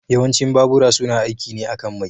Yawancin babura suna aiki ne akan mai.